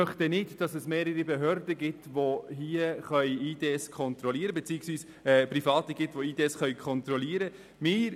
Wir möchten nicht, dass es mehrere Behörden beziehungsweise Private gibt, die IDs kontrollieren können.